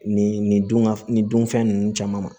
Nin nin dun ŋa f nin dun fɛn nunnu caman ma